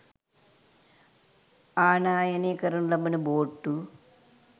ආනයනය කරනු ලබන බෝට්ටු